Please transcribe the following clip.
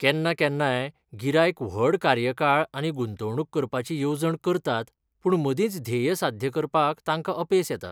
केन्ना केन्नाय गिरायक व्हड कार्यकाळ आनी गुंतवणूक करपाची येवजण करतात पूण मदींच ध्येय साध्य करपाक तांकां अपेस येता.